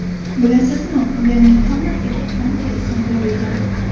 Bilasizmi, ularning hammasiga qanday ism berilgan?